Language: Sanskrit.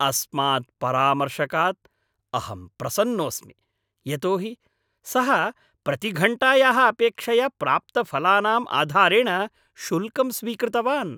अस्मात् परामर्शकात् अहं प्रसन्नोऽस्मि, यतो हि सः प्रतिघण्टायाः अपेक्षया प्राप्तफलानाम् आधारेण शुल्कं स्वीकृतवान्।